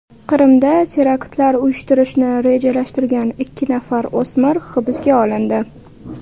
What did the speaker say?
Qrimda teraktlar uyushtirishni rejalashtirgan ikki nafar o‘smir hibsga olindi .